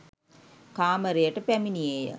කාමරයට පැමිණියේ ය.